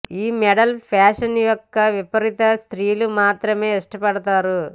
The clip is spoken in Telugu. ఈ మోడల్ ఫ్యాషన్ యొక్క విపరీత స్త్రీలు మాత్రమే ఇష్టపడతారు